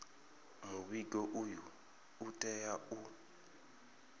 muvhigo uyu u tea u